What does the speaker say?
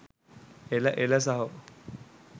එළ එළ සහෝ